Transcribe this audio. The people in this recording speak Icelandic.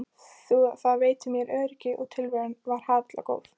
Það veitti mér öryggi og tilveran var harla góð.